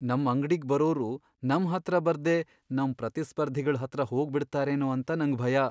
ನಮ್ ಅಂಗ್ಡಿಗ್ ಬರೋರು ನಮ್ ಹತ್ರ ಬರ್ದೇ ನಮ್ ಪ್ರತಿಸ್ಪರ್ಧಿಗಳ್ ಹತ್ರ ಹೋಗ್ಬಿಡ್ತಾರೇನೋ ಅಂತ ನಂಗ್ ಭಯ.